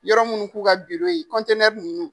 Yɔrɔ munnu k'u ka ye nunnnu.